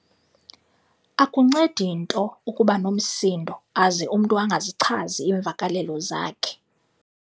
Akuncedi nto ukuba nomsindo aze umntu angazichazi iimvakalelo zakhe.